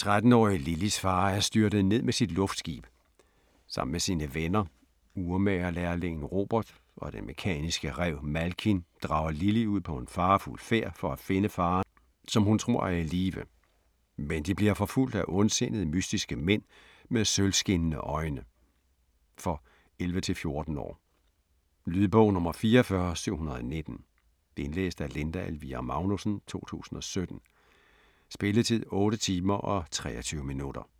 13-årige Lilys far er styrtet ned med sit luftskib. Sammen med sine venner, urmagerlærlingen Robert og den mekaniske ræv, Malkin, drager Lily ud på en farefuld færd for at finde faderen, som hun tror er i live. Men de bliver forfulgt af ondsindede, mystiske mænd med sølvskinnende øjne. For 11-14 år. Lydbog 44719 Indlæst af Linda Elvira Magnussen, 2017. Spilletid: 8 timer, 23 minutter.